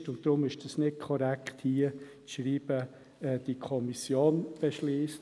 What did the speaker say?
Deshalb ist es hier nicht korrekt zu schreiben, die Kommission beschliesse.